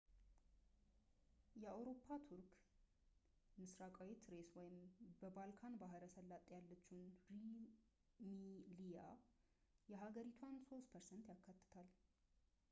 የአውሮፓ ቱርክ ምስራቃዊ ትሬስ ወይም በባልካን ባሕረ ሰላጤ ያለችው ሩሚሊያ የሀገሪቷን 3% ያካትታል